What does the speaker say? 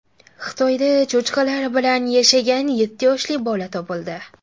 Xitoyda cho‘chqalar bilan yashagan yetti yoshli bola topildi.